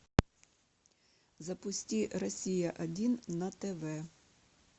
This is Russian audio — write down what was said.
запусти россия один на тв